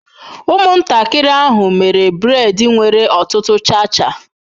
Ụmụntakịrị ahụ mere braid nwere ọtụtụ cha cha.